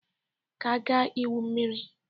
Ka agaa igwu mmiri!